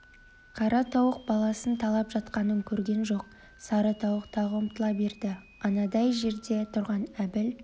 қара тауық баласын талап жатқанын көрген жоқ сары тауық тағы ұмтыла берді анадай жерде тұрған әбіл